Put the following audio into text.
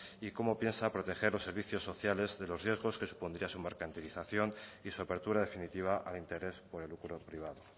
y cómo piensa proteger los servicios sociales de los riesgos que supondría su mercantilización y su apertura definitiva al interés por el lucro privado